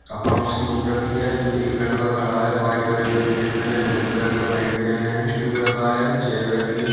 Accounts की book रखी है। एक लड़का खड़ा है। वाइट कलर की टीशर्ट पहने ब्लैक कलर का पैन्ट पहने है। स्टूल रखा है चेयर रखी है।